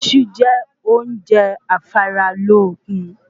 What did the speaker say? Iṣú jẹ óúnje afára lókun